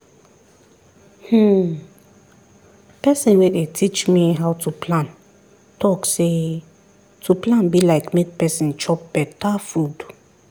hmmm person wey dey teach me how to plan talk say to plan be like make person chop beta food